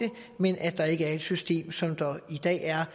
men at der ikke er et system som der i dag er